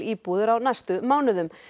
hótelíbúðir á næstu mánuðum